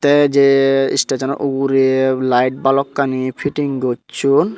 tey jey stage chano ugure light balokkani fitting gocchon.